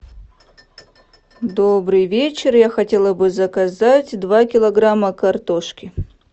добрый вечер я хотела бы заказать два килограмма картошки